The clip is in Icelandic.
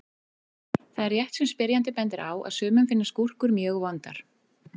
Það er rétt sem spyrjandi bendir á að sumum finnast gúrkur mjög vondar.